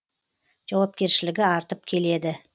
жауапкершілігі артып келеді